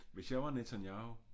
Hvis jeg var Netanyahu